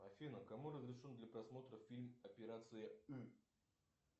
афина кому разрешен для просмотра фильм операция ы